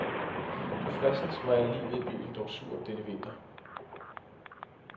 Du fredsens, hvor er livet i byen dog surt denne vinter.